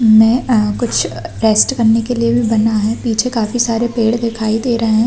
में अ कुछ रेस्ट करने के लिए भी बना है पीछे काफी सारे पेड़ दिखाई दे रहे --